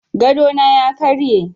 Gadona ya karye.